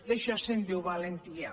d’això se’n diu valentia